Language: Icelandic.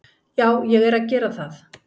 Já, ég er að gera það.